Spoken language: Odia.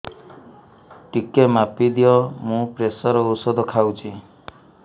ଟିକେ ମାପିଦିଅ ମୁଁ ପ୍ରେସର ଔଷଧ ଖାଉଚି